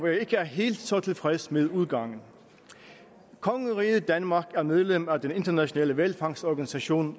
jeg ikke er helt så tilfreds med udgangen af kongeriget danmark er medlem af den internationale hvalfangstorganisation